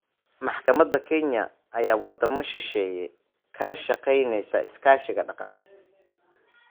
Madaxda Kenya ayaa wadamo shisheeye kala shaqaynayey iskaashi dhaqaale.